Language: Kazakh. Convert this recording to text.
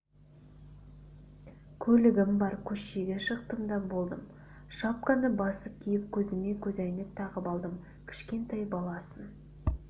көлігім бар көшеге шықтым да болдым шапканы басып киіп көзіме көзәйнек тағып алдым кішкентай баласын